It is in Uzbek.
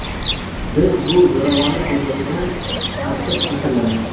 Biz bu zo‘ravonlik ko‘rinishidan qattiq ta’sirlandik.